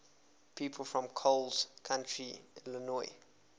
people from coles county illinois